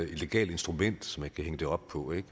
legalt instrument som man kan hænge det op på